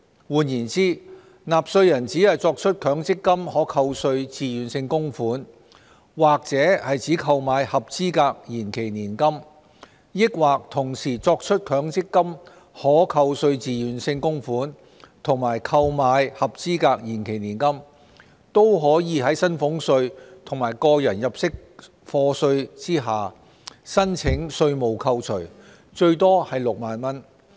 換言之，納稅人只作出強積金可扣稅自願性供款，或只購買合資格延期年金，抑或同時作出強積金可扣稅自願性供款和購買合資格延期年金，都可在薪俸稅及個人入息課稅下申請稅務扣除，最多為6萬元。